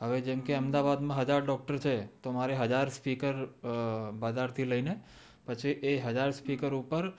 હવે જેમ કે અમદાવાદ માં હજાર ડોકટર છે તો મારે હજાર સ્પીકર બજાર થી લય ને પછી એ સ્પીકર ઉપર